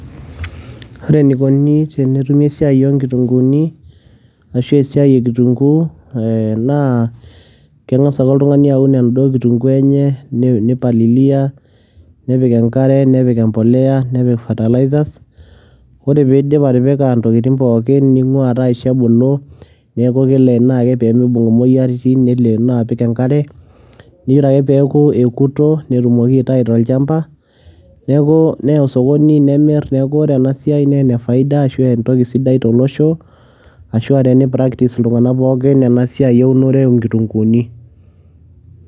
ore eneikoni tenetumi esiai oonkitunkuuni, ashu esiai ekitunkuu, naa kengas ake oltungani aun enaduoo kitunkuu enye, neipalilia, nepik enkare, nepik fertilizer. ore pee idip atipika intokitin pookin, neingua, taa aisho ebulu, neeku keleeno ake pee mibung imoyiaritin, neleenoo apik enkare, ore peeku ekuto netumoki aitayu tolcampa, neya osokoni, nemir, neeku ore ena siai naa ene faida ashu entoki sidai tolosho. ashu aa teni practice iltungana pookin ena siai eunore oo nkitunkuuni.